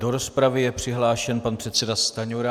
Do rozpravy je přihlášen pan předseda Stanjura.